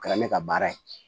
Kɛra ne ka baara ye